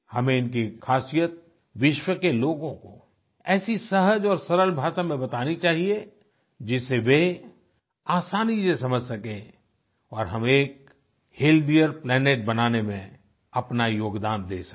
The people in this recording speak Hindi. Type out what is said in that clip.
हमें इनकी खासियत विश्व के लोगों को ऐसी सहज और सरल भाषा में बतानी चाहिए जिससे वे आसानी से समझ सकें और हम एक हेल्थियर प्लैनेट बनाने में अपना योगदान दे सकें